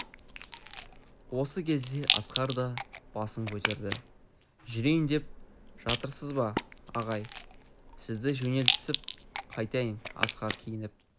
осы кезде асқар да басын көтерді жүрейін деп жатырсыз ба ағай сізді жөнелтісіп қайтайын асқар киініп